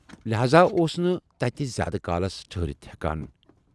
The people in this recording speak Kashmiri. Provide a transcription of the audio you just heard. لہاذا اوس نہٕ تتہِ زیادٕ کالس ٹھہٕرِتھ ہٮ۪کان۔